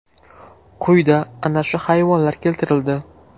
Quyida ana shu hayvonlar keltirildi.